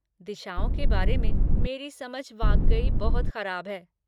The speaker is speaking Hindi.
दिशाओं के बारे में मेरी समझ वाकई बहुत खराब है।